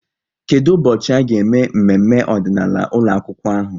Kedụ ụbọchị a ga-eme mmemme ọdịnaala ụlọakwụkwọ ahụ?